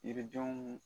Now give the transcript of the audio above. Yiridenw